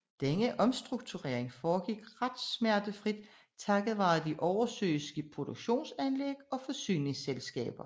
Denne omstrukturering foregik ret smertefrit takket være de oversøiske produktionsanlæg og forsyningsselskaber